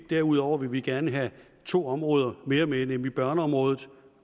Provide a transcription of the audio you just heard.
derudover vil vi gerne have to områder mere med nemlig børneområdet